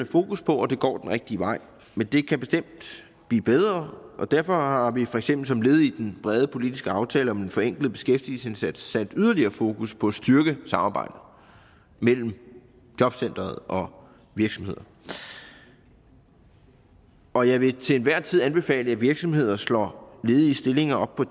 fokus på og det går den rigtige vej men det kan bestemt blive bedre og derfor har vi for eksempel som led i den brede politiske aftale om en forenklet beskæftigelsesindsats sat yderligere fokus på at styrke samarbejdet mellem jobcenteret og virksomheden og og jeg vil til enhver tid anbefale at virksomheder slår ledige stillinger op på